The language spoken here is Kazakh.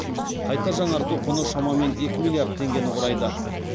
қайта жаңарту құны шамамен екі миллиард теңгені құрайды